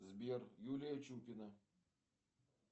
сбер юлия чупина